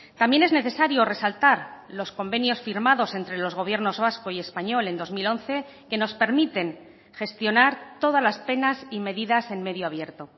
también es necesario resaltar los convenios firmados entre los gobiernos vasco y español en dos mil once que nos permiten gestionar todas las penas y medidas en medio abierto